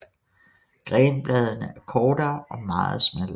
Grenbladene er kortere og meget smallere